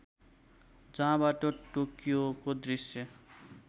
जहाँबाट टोकियोको दृश्य